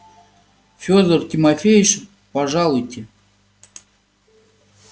фёдор тимофеич пожалуйте